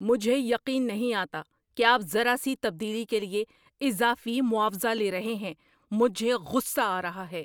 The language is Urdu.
مجھے یقین نہیں آتا کہ آپ ذرا سی تبدیلی کے لیے اضافی معاوضہ لے رہے ہیں۔ مجھے غصہ آ رہا ہے۔